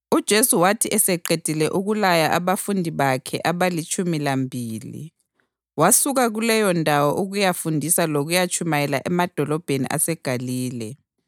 UJesu wathi eseqedile ukulaya abafundi bakhe abalitshumi lambili wasuka kuleyondawo ukuyafundisa lokutshumayela emadolobheni aseGalile.